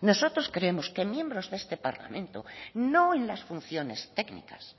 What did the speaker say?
nosotros creemos que miembros de este parlamento no en las funciones técnicas